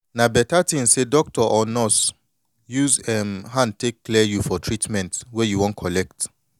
na beta thin say doctor or nurse use em hand take clear you for treatment wey you you wan collect